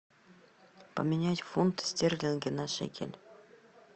поменять фунты стерлинги на шекель